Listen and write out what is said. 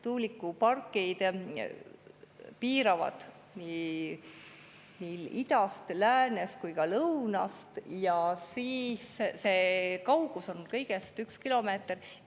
Tuulikupargid piiravad seda nii idast, läänest kui ka lõunast ja kaugus on kõigest üks kilomeeter.